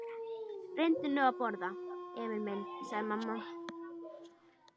Reyndu nú að borða, Emil minn, sagði mamma.